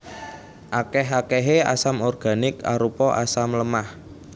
Akèh akèhé asam organik arupa asam lemah